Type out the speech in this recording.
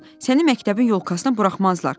Səni məktəbin yolkasına buraxmazlar.